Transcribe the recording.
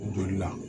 Joli la